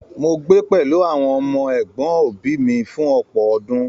Mó gbé pẹlú àwọn ọmọ ẹgbọn òbí mí fún ọpọ ọdún.